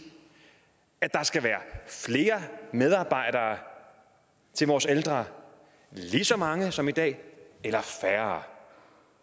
at der skal være flere medarbejdere til vores ældre lige så mange som i dag eller færre